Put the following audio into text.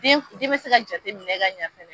Den f e be se ka jate minɛ ka ɲɛ ɲɛfɛ